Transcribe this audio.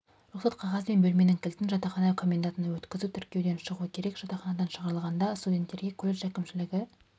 рұқсат қағаз бен бөлменің кілтін жатақхана комендантына өткізу тіркеуден шығу керек жатақханадан шығарылғанда студенттерге колледж әкімшілігі